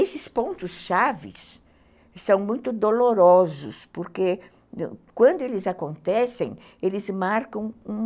Esses pontos chaves são muito dolorosos, porque quando eles acontecem, eles marcam um...